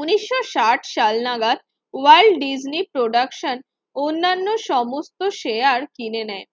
উন্নিশশো ষাট সাল নাগাদ ওয়ার্ল্ড ডিজনি প্রোডাকশন অন্যান্য সমস্ত শেয়ার কিনে নেয়।